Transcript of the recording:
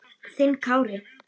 Þinn Kári.